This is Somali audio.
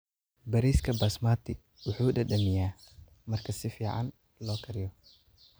Bariiska Basmati wuxuu dhadhamiyaa marka si fiican loo kariyo.